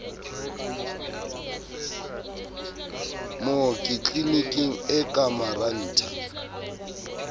mooki tliliniking e ka marantha